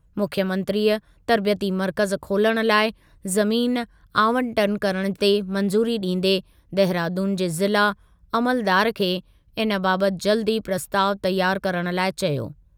मुख्यमंत्रीअ तर्बियती मर्कज़ु खोलणु लाइ ज़मीन आवंटन करणु ते मंज़ूरी ॾींदे देहरादून जे ज़िला अमलदार खे इन बाबति जल्दु ई प्रस्तावु तयारु करणु लाइ चयो।